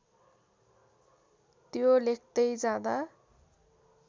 त्यो लेख्दै जाँदा